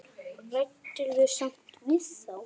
Ræddirðu samt við þá?